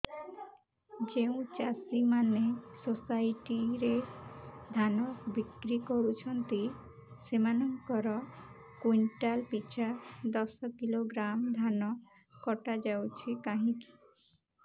ଯେଉଁ ଚାଷୀ ମାନେ ସୋସାଇଟି ରେ ଧାନ ବିକ୍ରି କରୁଛନ୍ତି ସେମାନଙ୍କର କୁଇଣ୍ଟାଲ ପିଛା ଦଶ କିଲୋଗ୍ରାମ ଧାନ କଟା ଯାଉଛି କାହିଁକି